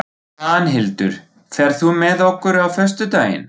Svanhildur, ferð þú með okkur á föstudaginn?